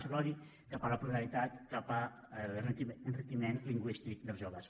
és l’odi cap a la pluralitat cap a l’enriquiment lingüístic dels joves